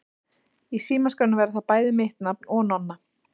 Í símaskránni verður bæði mitt nafn og Nonna.